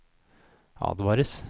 advares